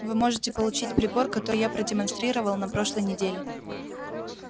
вы можете получить прибор который я продемонстрировал на прошлой неделе